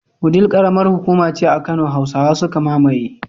Wudil karamar hukuma ce a kano. Hausawa suka mamaye